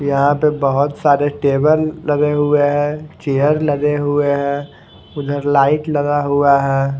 यहा पे बहोत सारे टेबल लगे हुए है चेयर लगे हुए है उधर लाइट लगा हुआ है।